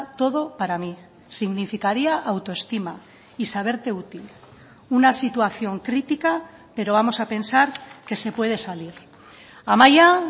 todo para mí significaría autoestima y saberte útil una situación crítica pero vamos a pensar que se puede salir amaia